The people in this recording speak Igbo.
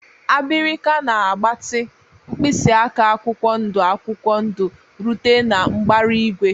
Abirika na-agbatị, mkpịsị aka akwụkwọ ndụ akwụkwọ ndụ rute na mbara igwe.